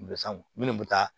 minnu bɛ taa